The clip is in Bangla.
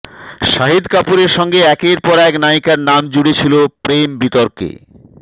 শাহিদ কাপুরের সঙ্গে একের পর এক নায়িকার নাম জুড়ে ছিল প্রেম বিতর্কে